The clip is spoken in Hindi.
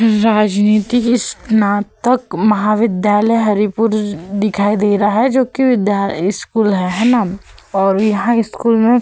राजनीति स्नातक महाविद्यालय हरिपुर दिखाई दे रहा है जो कि विद्या स्कूल है हैना और यहाँ स्कूल में --